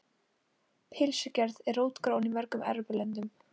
Pylsugerð er rótgróin í mörgum Evrópulöndum.